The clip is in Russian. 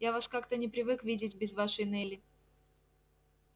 я вас как-то не привык видеть без вашей нелли